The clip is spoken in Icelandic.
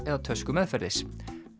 eða tösku meðferðis